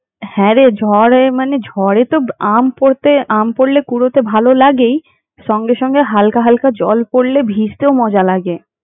হ্যাঁ, রে ঝড়ে মানে ঝড়ে তো আম পড়তে আম পড়লে কুড়োতে ভালো লাগেই সঙ্গে সঙ্গে জল পড়লে ভিজতেও ভালো লাগে।